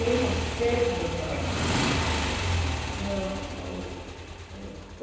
Irmos cedo para lá.